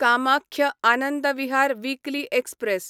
Kamakhya Anand Vihar weekly express